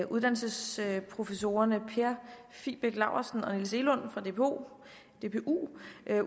uddannelsesprofessorerne per fibæk laursen og niels egelund fra dpu